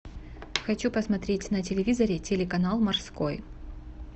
хочу посмотреть на телевизоре телеканал морской